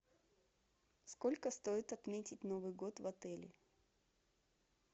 сколько стоит отметить новый год в отеле